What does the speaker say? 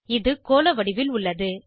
இது கோள வடிவில் உள்ளது